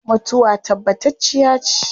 Mutuwa tabbatacciya ce